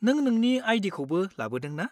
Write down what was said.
नों नोंनि आइ.डि.खौ लाबोदों ना?